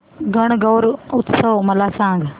गणगौर उत्सव मला सांग